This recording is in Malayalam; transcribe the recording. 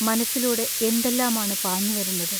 മനസ്സിലൂടെ എന്തെല്ലാമാണു പാഞ്ഞുവരുന്നത്.